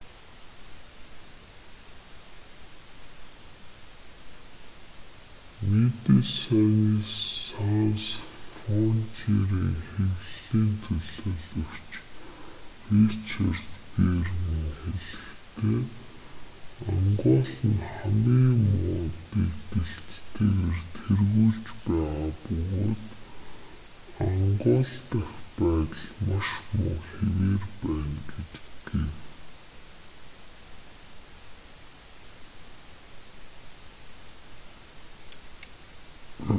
мэдэсайнес санс фронтиерийн хэвлэлийн төлөөлөгч ричард веерман хэлэхдээ ангол нь хамгийн муу дэгдэлттэйгээр тэргүүлж байгаа бөгөөд ангол дахь байдал маш муу хэвээр байна гэв